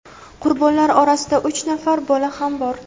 qurbonlar orasida uch nafar bola ham bor.